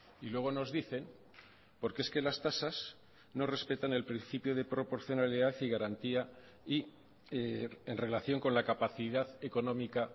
y luego nos dicen porque es que las tasas no respetan el principio de proporcionalidad y garantía y en relación con la capacidad económica